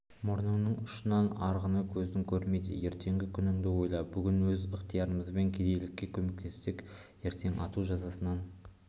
мұрныңның ұшынан арғыны көзің көрмейді ертеңгі күніңді ойла бүгін өз ықтиярымызбен кедейіне көмектессек ертең ату жазасынан